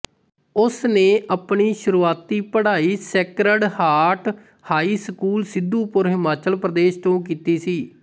ਉਸਨੇ ਆਪਣੀ ਸ਼ੁਰੂਆਤੀ ਪੜ੍ਹਾਈ Sacred Heart High School Sidhupur Himachal Pradesh ਤੋਂ ਕੀਤੀ ਸੀ